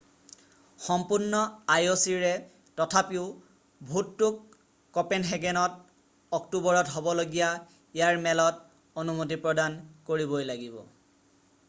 সম্পূৰ্ণ আই অ' চিৰে তথাপিও ভোটটোক কঁপেনহেগেনত অক্টোবৰত হ'বলগীয়া ইয়াৰ মেলত অনুমতি প্ৰদান কৰিবই লাগিব